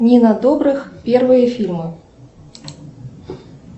нина добрых первые фильмы